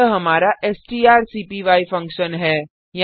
यह हमारा स्टारसीपीवाई फंक्शन है